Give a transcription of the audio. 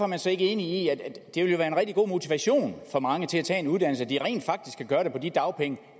man så ikke enig i at det vil være en rigtig god motivation for mange til at tage en uddannelse at de rent faktisk kan gøre det på de dagpenge